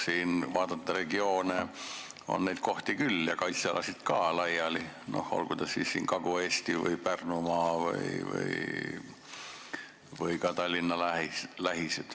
Kui regioone vaadata, siis on neid kohti ja laiali kaitsealasid küll, olgu Kagu-Eestis, Pärnumaal või ka Tallinna lähistel.